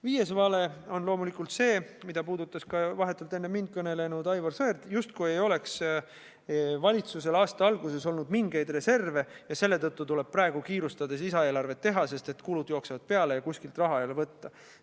Viies vale on loomulikult see, mida puudutas ka vahetult enne mind kõnelenud Aivar Sõerd: justkui ei oleks valitsusel aasta alguses olnud mingeid reserve ja selle tõttu tuleb praegu kiirustades lisaeelarvet teha, sest kulud jooksevad peale ja kuskilt raha ei ole võtta.